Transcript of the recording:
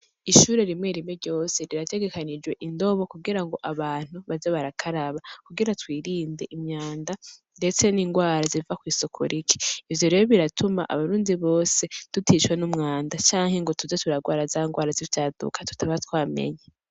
Ishure rimwe rimwe ryose rirategekanijwe indobo abantu baze barakaraba kugira twirinde imwanda ndetse ningwara ziva kwisuku rike. Ivyo rero biratuma abarundi bose tutishwe n'umwanda canke tuze turahwara indwara zivyaduka tutaba twamenye